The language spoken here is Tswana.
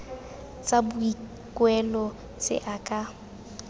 tsa boikuelo tse a ka